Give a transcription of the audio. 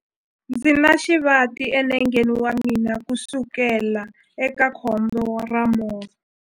Ndzi na xivati enengeni wa mina kusukela eka khombo ra movha.